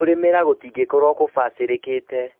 Kũrĩmĩra gũtingĩkorwo gũbacĩrĩkĩte